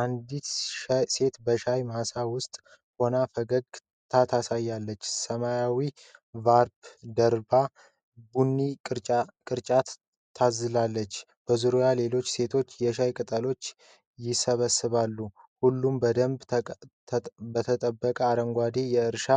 አንዲት ሴት በሻይ ማሳ ውስጥ ሆና ፈገግታ ታሳያለች። ሰማያዊ ሻርፕ ደርባ ቡኒ ቅርጫት ታዝላለች። በዙሪያዋ ሌሎች ሴቶች የሻይ ቅጠሎችን ይሰበስባሉ። ሁሉም በደንብ በተጠበቀው አረንጓዴ የእርሻ